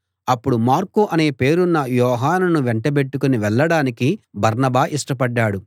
అప్పుడు మార్కు అనే పేరున్న యోహానును వెంటబెట్టుకుని వెళ్ళడానికి బర్నబా ఇష్టపడ్డాడు